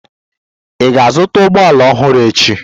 Ị ga-azụta ụgbọ ala ọhụrụ echi?